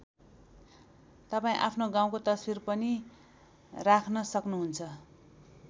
तपाईँ आफ्नो गाउँको तस्बिर पनि राख्न सक्नुहुन्छ।